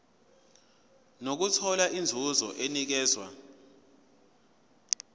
nokuthola inzuzo enikezwa